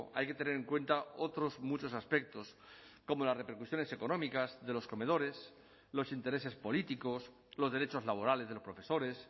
hay que tener en cuenta otros muchos aspectos como las repercusiones económicas de los comedores los intereses políticos los derechos laborales de los profesores